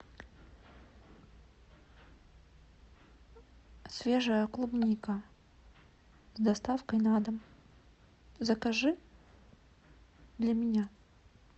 свежая клубника с доставкой на дом закажи для меня